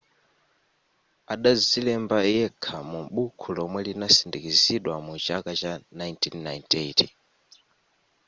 adazilemba yekha mu bukhu lomwe linasindikizidwa mu chaka cha 1998